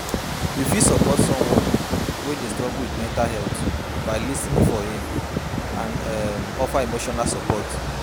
You fit support someone wey dey struggle with mental health by lis ten ing for im and um offer emotional support.